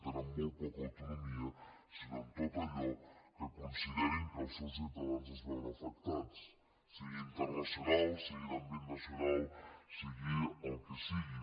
tenen molt poca autonomia sinó en tot allò en què considerin que els seus ciutadans es veuen afectats sigui internacional sigui d’àmbit nacional sigui el que sigui